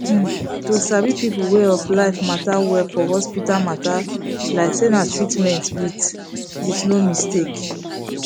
hmm to sabi people way of life matter well for hospital matter like say na treatment with with no mistake